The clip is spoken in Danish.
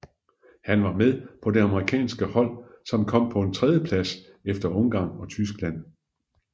Han var med på det amerikanske hold som kom på en tredjeplads efter Ungarn og Tyskland